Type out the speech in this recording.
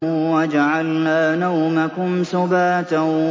وَجَعَلْنَا نَوْمَكُمْ سُبَاتًا